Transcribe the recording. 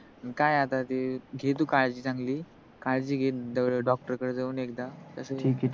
काय आता ते घे तू काळजी चांगली, काळजी घे doctor जावून एखदा तस